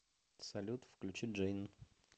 салют включи джейн